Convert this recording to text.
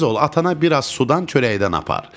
Tez ol, atana biraz sudan çörəkdən apar.